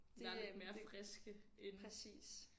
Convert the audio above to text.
Langt mere friske end